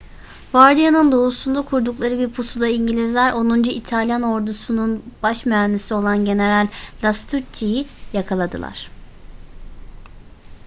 bardia'nın doğusunda kurdukları bir pusuda i̇ngilizler onuncu i̇talyan ordusunun baş mühendisi olan general lastucci'yi yakaladılar